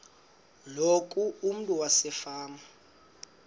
loku umntu wasefama